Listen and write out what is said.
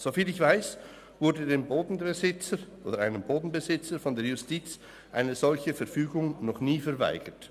Soviel ich weiss, wurde den Bodenbesitzern oder einem Bodenbesitzer von der Justiz noch nie eine solche Verfügung verweigert.